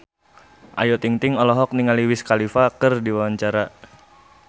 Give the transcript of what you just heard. Ayu Ting-ting olohok ningali Wiz Khalifa keur diwawancara